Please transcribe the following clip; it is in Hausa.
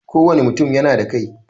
Kowane mutum yana da kai.